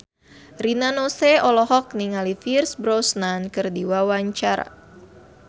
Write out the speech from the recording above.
Rina Nose olohok ningali Pierce Brosnan keur diwawancara